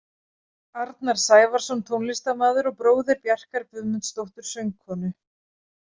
Arnar Sævarsson tónlistarmaður og bróðir Bjarkar Guðmundsdóttur söngkonu.